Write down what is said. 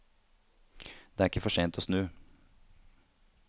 Det er ikke for sent å snu.